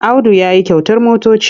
Audu ya yi kyautar motoci.